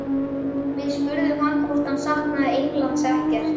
Við spurðum hann hvort hann saknaði Englands ekkert?